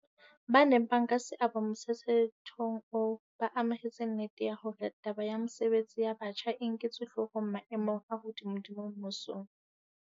Ba neng ba nka seabo motshetshethong oo ba amohetse nnete ya hore taba ya mesebetsi ya batjha e nketswe hloohong maemong a hodimodimo mmusong.